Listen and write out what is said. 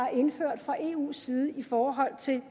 er indført fra eus side i forhold til